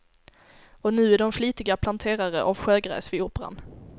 Och nu är de flitiga planterare av sjögräs vid operan.